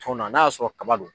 Tɔnna n'a y'a sɔrɔ kaba don.